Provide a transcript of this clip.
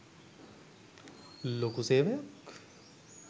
ලොකු සේවයක්.